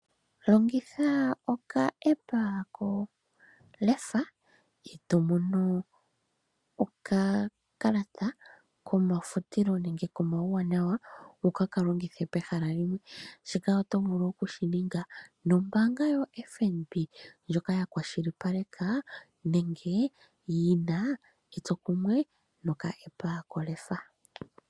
Longitha okaApp ko Leffa eto mono okakalata komafutilo nenge komauwanawa, wu ke ka longithe pehala limwe. Shika oto vulu oku shi ninga nombaanga yoFNB ndjoka ya kwashilipaleka nenge yi na etsokumwe no kaApp ha.